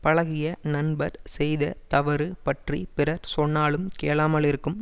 பழகிய நண்பர் செய்த தவறு பற்றி பிறர் சொன்னாலும் கேளாமலிருக்கும்